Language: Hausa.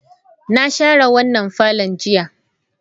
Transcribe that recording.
Na share wannan parlourn jiya.